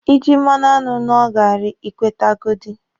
Ị jị mmanụ aṅụ ṅụọ gaarị, Ị kwetegodi.